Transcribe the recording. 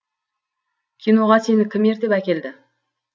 киноға сені кім ертіп әкелді